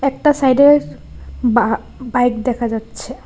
একটা সাইডে বা বাইক দেখা যাচ্ছে।